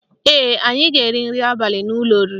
Ee, anyị ga-eri nri abali n'ụlọ oriri